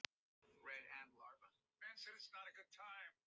Það gat ekki vitað á gott.